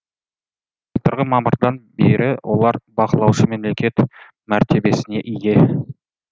былтырғы мамырдан бері олар бақылаушы мемлекет мәртебесіне ие